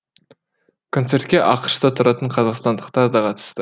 концертке ақш та тұратын қазақстандықтар да қатысты